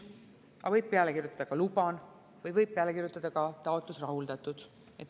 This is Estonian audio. Aga võib peale kirjutada ka "Luban", võib peale kirjutada ka "Taotlus rahuldatud".